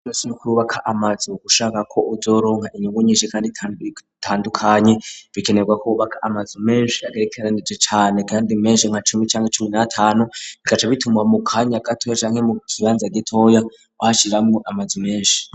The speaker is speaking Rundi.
Kurubaka amazu ushaka kuzoronka inyungu nyishi kandi itandukanyi bikenerwa kubaka amazi menshi agerekeranije cane kandi menshi nka cumi cangwa icumi natanu bikaca bitumwa mu kanya gato canke mu kibanza gitoya ushiramo amazu menshi.